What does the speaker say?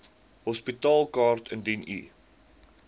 hospitaalkaart indien u